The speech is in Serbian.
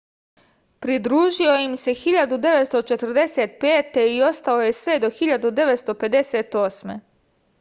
pridružio im se 1945. i ostao je sve do 1958